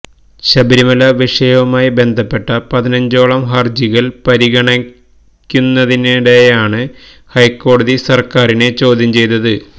ശബരിമല വിഷയവുമായി ബന്ധപ്പെട്ട പതിനഞ്ചോളം ഹർജികൾ പരിഗണിക്കുന്നതിനിടെയാണ് ഹൈക്കോടതി സര്ക്കാരിനെ ചോദ്യം ചെയ്തത്